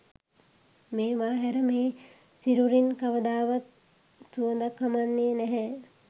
මේවා හැර මේ සිරුරින් කවදාවත් සුවඳක් හමන්නේ නැහැ.